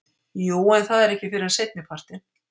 Jú en það er ekki fyrr en seinnipartinn.